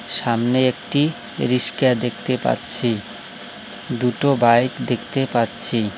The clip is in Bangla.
সামনে একটি রিস্কা দেখতে পাচ্ছি দুটো বাইক দেখতে পাচ্ছি।